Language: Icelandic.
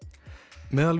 meðal